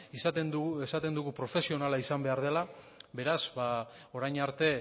esaten dugu profesionala izan behar dela beraz orain arte